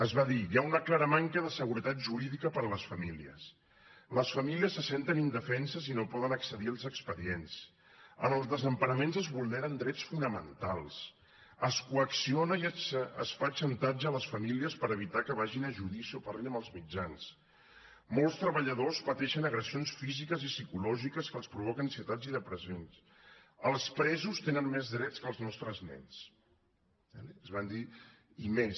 es va dir hi ha una clara manca de seguretat jurídica per a les famílies les famílies se senten indefenses i no poden accedir als expedient en els desemparaments es vulneren drets fonamentals es coacciona i es fa xantatge a les famílies per evitar que vagin a judici o parlin amb els mitjans molts treballadors pateixen agressions físiques i psicològiques que els provoquen ansietats i depressions els presos tenen més drets que els nostres nens es van dir i més